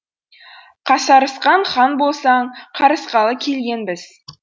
қасарысқан хан болсаң қарысқалы келгенбіз